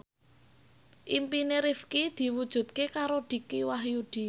impine Rifqi diwujudke karo Dicky Wahyudi